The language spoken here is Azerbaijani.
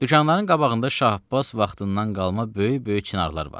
Dükanların qabağında Şah Abbas vaxtından qalma böyük-böyük çinarlar var.